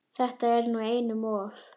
Þetta er nú einum of!